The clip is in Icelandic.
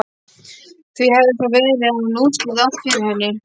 Því hefði svo verið hefði hann útskýrt allt fyrir henni.